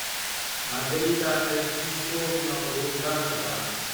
маргарита альфисовна рудакова